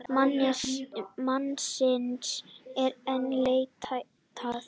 Mannsins er enn leitað.